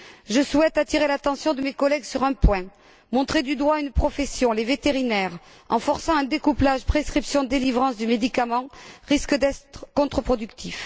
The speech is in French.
Je souhaite attirer l'attention de mes collègues sur un point montrer du doigt une profession les vétérinaires en forçant un découplage prescription délivrance du médicament, risque d'être contreproductif.